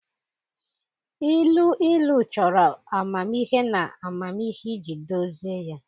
Ilu ilu chọrọ amamihe na amamihe iji dozie ya